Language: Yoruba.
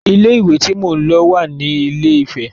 Ilé ìwé tí mo lọ wà ní ilé - ìfẹ.